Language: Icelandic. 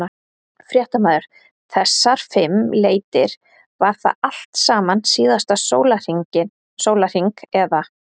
Fréttamaður: Þessar fimm leitir, var það allt saman síðasta sólarhring eða?